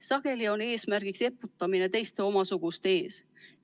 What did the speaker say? Sageli on eesmärk eputamine teiste ees.